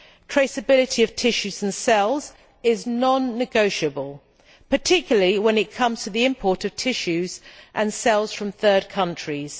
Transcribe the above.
Traceability of tissues and cells is non negotiable, particularly when it comes to the import of tissues and cells from third countries.